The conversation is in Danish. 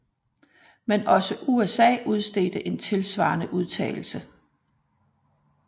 Men også USA udstedte en tilsvarende udtalelse